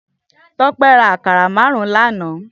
Tope rà àkárá màárùn lànã